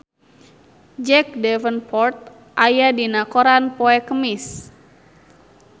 Jack Davenport aya dina koran poe Kemis